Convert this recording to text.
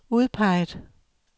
udpeget